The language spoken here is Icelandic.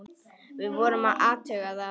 Við vorum að athuga það.